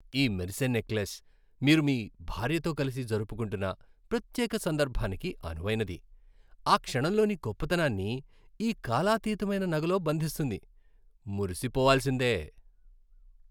ఈ మెరిసే నెక్లెస్ మీరు మీ భార్యతో కలిసి జరుపుకుంటున్న ప్రత్యేక సందర్భానికి అనువైనది, ఆ క్షణంలోని గొప్పతనాన్ని ఈ కాలాతీతమైన నగలో బంధిస్తుంది. మురిసిపోవాల్సిందే!